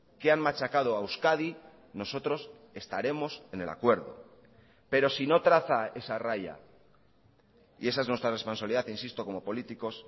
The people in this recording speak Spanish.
que han machacado a euskadi nosotros estaremos en el acuerdo pero si no traza esa raya y esa es nuestra responsabilidad insisto como políticos